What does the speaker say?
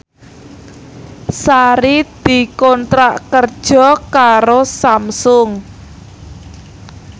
Sari dikontrak kerja karo Samsung